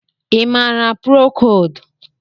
Ị maara prokold?